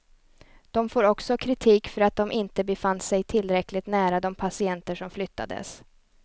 De får också kritik för att de inte befann sig tillräckligt nära de patienter som flyttades.